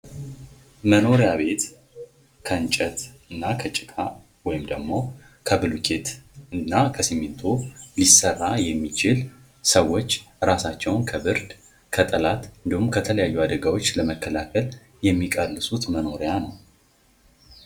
መኖሪያ ቤት ከእንጨት እና ከጭቃ ወይም ደግሞ ከብሎኬት እና ከሲሚንቶ ሊሰራ የሚችል ሰዎች እራሳቸውን ከብርድ ፣ ከጠላት እንዲሁም ከተለያዩ አደጋዎች ለመከላከል የሚቀልሱት መኖሪያ ነው ።